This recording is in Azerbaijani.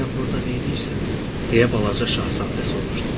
Sən burda nəyləyirsən, deyə balaca şahzadə soruşdu.